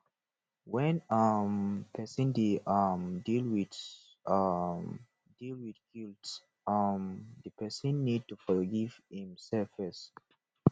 when um person dey um deal with um deal with guilt um di person need to forgive im self first